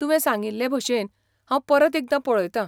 तुवें सांगिल्लेभशेन, हांव परत एकदां पळयतां.